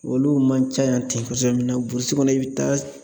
Olu man ca yan ten kosɛbɛ na burusi kɔnɔ i bɛ taa